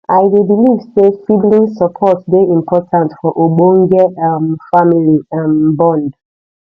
i dey believe say sibling support dey important for ogbonge um family um bond